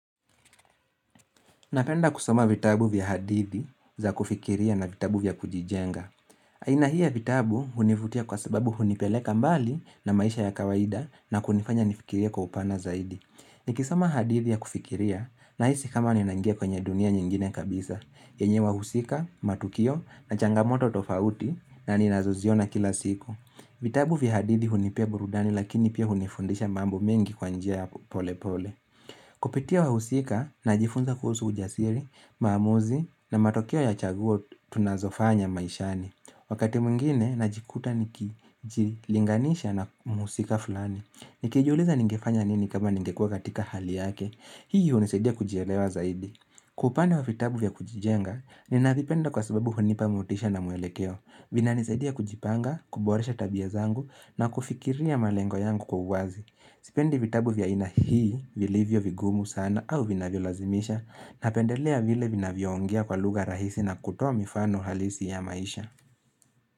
Napenda kusoma vitabu vya hadithi za kufikiria na vitabu vya kujijenga. Aina hii ya vitabu hunivutia kwa sababu hunipeleka mbali na maisha ya kawaida na kunifanya nifikirie kwa upana zaidi. Nikisoma hadithi ya kufikiria nahisi kama ninaingia kwenye dunia nyingine kabisa. Yenye wahusika, matukio, na changamoto tofauti na ninazoziona kila siku. Vitabu vya hadithi hunipea burudani lakini pia hunifundisha mambo mengi kwa njia ya pole pole. Kupitia wahusika najifunza kuhusu ujasiri, maamuzi na matokeo ya chaguo tunazofanya maishani. Wakati mwingine, najikuta nikijilinganisha na mhusika fulani. Nikijiuliza nigefanya nini kama ningekua katika hali yake. Hiyo inasaidia kujielewa zaidi. Kupana vitabu vya kujijenga, ninavipenda kwa sababu hunipa motisha na muelekeo. Vinanisadia kujipanga, kuboresha tabia zangu na kufikiria malengo yangu kwa uwazi. Sipendi vitabu vya ina hii vilivyo vigumu sana au vinavyo lazimisha napendelea vile vinavyo ongea kwa lugha rahisi na kutoa mifano halisi ya maisha.